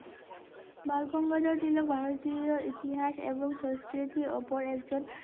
বালগঙ্গাধর তিলক ভারতীয় ইতিহাস এবং সংস্কৃতির ওপর একজন